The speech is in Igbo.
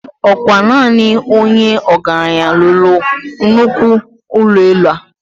Okwa naani Onye ogaranyi lulu Nnukwu ulo elu a